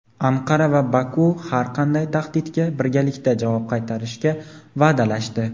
Anqara va Baku har qanday tahdidga birgalikda javob qaytarishga va’dalashdi.